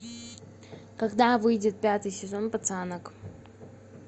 когда выйдет пятый сезон пацанок